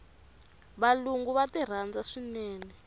valungu va ti rhandza swinene